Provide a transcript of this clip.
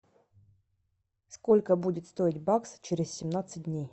сколько будет стоить бакс через семнадцать дней